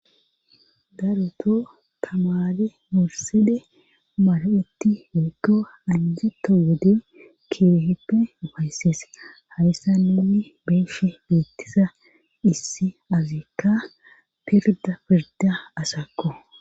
Daroto tamade murside mar'etti wekko anjitto wode keehippe ufaysses hayssa ninni beeshe beettisa issi azikka pirda pirda asakko